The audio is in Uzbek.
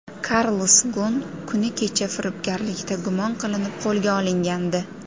Karlos Gon kuni kecha firibgarlikda gumon qilinib, qo‘lga olingandi.